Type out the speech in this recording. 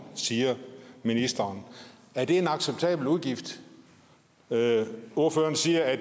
siger ministeren er det en acceptabel udgift ordføreren siger at